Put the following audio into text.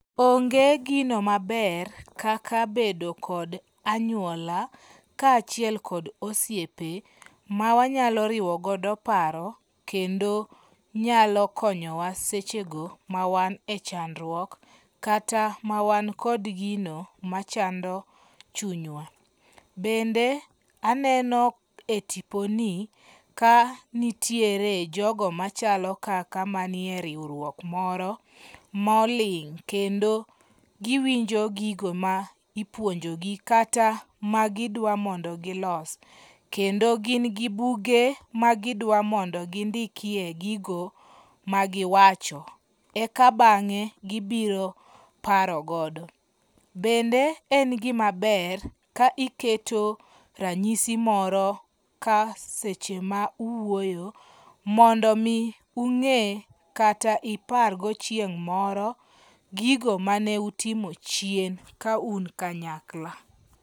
Onge' gino maber kaka bedo kod anyuola kaa chiel kod osiepe mawanyalo riwogo paro kendo nyalo konyowa sechego ma wan e chandruok kata mawan kod gino machando chunywa, bende aneno e tiponi kanitiere jogo machalo kaka maniere riwruok moro moling kendo giwinj gigo ma ipuonjogi kata magidwa mondo gilosi, kendo gin gi buge ma gidwa mondo gindikie gigo magiwach, eka bange' gibiro paro godo, bende en gimaber ka iketo ranyisi moro kaseche ma uwuoyo mondo mi unge' kata ipargo chieng moro gigo mane utimo chien ka un kanyakla.